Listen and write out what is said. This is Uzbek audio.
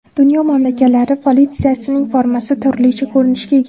Dunyo mamlakatlari politsiyasining formasi turlicha ko‘rinishga ega.